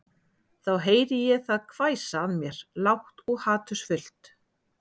Þá heyri ég það hvæsa að mér lágt og hatursfullt